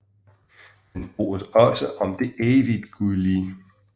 Den bruges også om det evigtgyldige